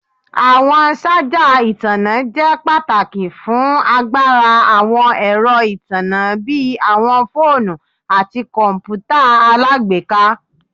Awọn ṣaja itanna jẹ pataki fun agbara awọn ẹrọ itanna bi awọn foonu ati kọǹpútà alágbèéká